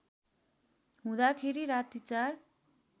हुँदाखेरि राति ४